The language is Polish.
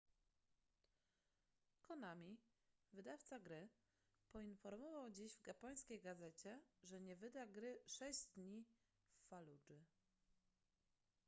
konami wydawca gry poinformował dziś w japońskiej gazecie że nie wyda gry sześć dni w faludży